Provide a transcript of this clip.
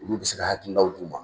Olu bɛ se ka hakilinaw d'u ma.